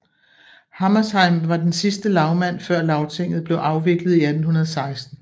Hammershaimb var den sidste lagmand før Lagtinget blev afviklet i 1816